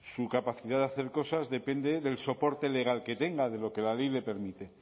su capacidad de hacer cosas depende del soporte legal que tenga de lo que la ley le permite